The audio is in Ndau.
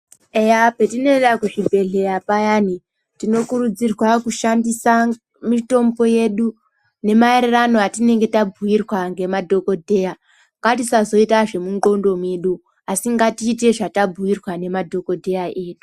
Eya petinoenda kuzvibhedhlera payani, tinokurudzirwa kushandisa mitombo yedu, nemaererano atinenge tabhuirwa ngemadhokodheya. Ngatisazoita zvemundxondo medu, asi ngatiite zvatabhuirwa ngemadhokodheya edu.